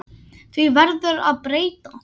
Því verður að breyta.